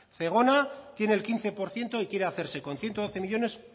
zegona tiene el quince por ciento y quiere hacerse con ciento doce millónes